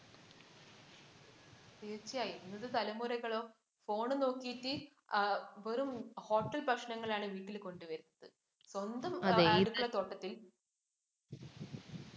തീര്‍ച്ചയായും. ഇന്നത്തെ തലമുറകളോ phone നോക്കീട്ട് ആ വെറും hotel ഭക്ഷണമാണ് വീട്ടില്‍ കൊണ്ടുവരുന്നത്. സ്വന്തം അടുക്കള തോട്ടത്തില്‍